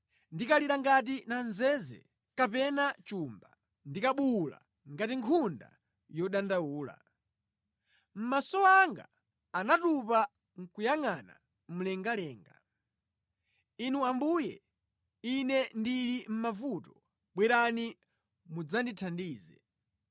Ndinkalira ngati namzeze kapena chumba, ndinkabuwula ngati nkhunda yodandaula. Maso anga anatopa nʼkuyangʼana mlengalenga. Inu Ambuye, ine ndili mʼmavuto bwerani mudzandithandize!”